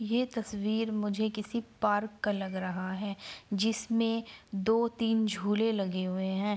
ये तस्वीर मुझे किसी पार्क का लग रहा है जिसमें दो तीन झूले लगे हुए हैं।